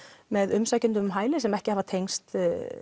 með umsækjendum um hæli sem ekki hafa tengst